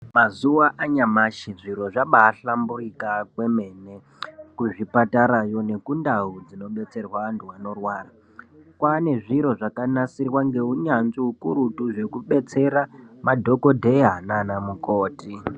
Mazuva anyamashi zviro zvabaahlamburika kwemene kuzvipatarayo nekundau dzinodetserwa antu anorwara. Kwaane zviro zvakanasirwa neunyanzvi hukurutu zvekudetsera madhokodheya naana mukoti.